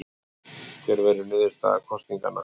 Hver verður niðurstaða kosninganna?